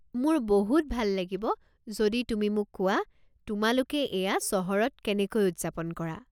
মোৰ বহুত ভাল লাগিব যদি তুমি মোক কোৱা তোমালোকে এয়া চহৰত কেনেকৈ উদযাপন কৰা।